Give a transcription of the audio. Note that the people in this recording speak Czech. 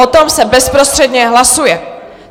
O tom se bezprostředně hlasuje.